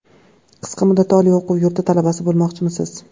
Qisqa muddatda oliy o‘quv yurti talabasi bo‘lmoqchimisiz?